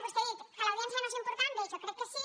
vostè ha dit que l’audiència no és important bé jo crec que sí